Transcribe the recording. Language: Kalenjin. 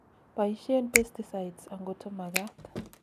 boishen pesticides angoto magat